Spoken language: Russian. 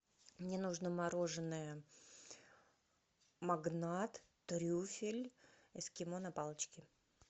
мне нужно мороженое магнат трюфель эскимо на палочке